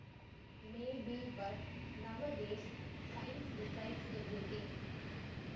May be but nowadays science decides everything